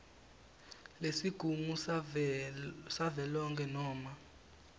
lesigungu savelonkhe noma